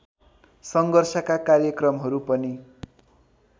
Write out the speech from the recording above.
सङ्घर्षका कार्यक्रमहरू पनि